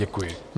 Děkuji.